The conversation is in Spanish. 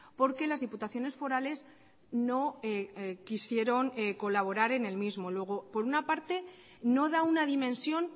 porque las diputaciones forales no quisieron colaborar en el mismo luego por una parte no da una dimensión